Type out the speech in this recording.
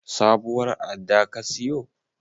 Sabuwar adda ka siyo?